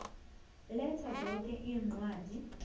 letha zoke iincwadi